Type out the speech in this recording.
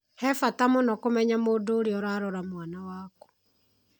He bata mũno kũmenya mũndũ ũrĩa ũrarora mwana waku.